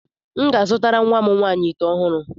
M ga-azụtara nwa m nwaanyị ite ọhụrụ.